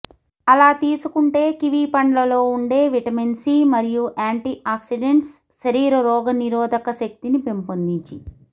అలా తీసుకుంటే కివి పండ్లలో ఉండే విటమిన్ సి మరియు యాంటీ ఆక్సిడెంట్స్ శరీర రోగ నిరోధక శక్తిని పెంపొందించి